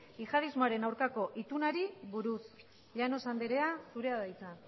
jihadismoaren aurkako itunari buruz llanos andrea zurea da hitza